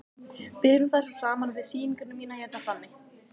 Berum þær svo saman við sýninguna mína hérna frammi.